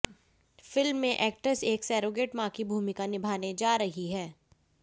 film में actress एक surrogate मां की भूमिका निभाने जा रही हैं